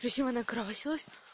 причём она красилась